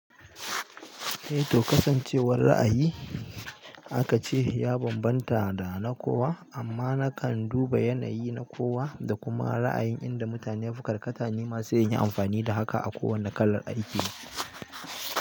Eh to kasancewar ra'ayi akace ya bambanta dana kowa, amma nakan duba yanayi na kowa da kuma raayin inda mutane yafi karkata nima sai inyi anfani da haka a kowane kalar aiki.